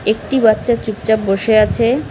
একটি বাচ্চা চুপচাপ বসে আছে।